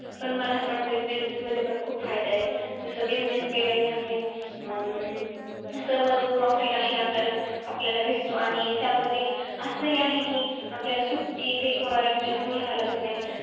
पण मला असं वाटतं कि business मध्ये पण खूप फायदा आहे. जसं, business केल्यानी आपली अं सर्व जो profit आहे, आपल्याला आपल्याला भेटतो. आणि त्यामध्ये असंही आहे कि, आपल्याला सुट्टी ते कोणाला विचारून घ्यावं लागत नाही.